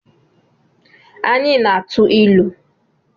Anyị na-atụ ilu